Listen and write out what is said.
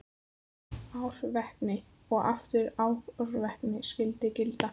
Árvekni og aftur árvekni skyldi gilda.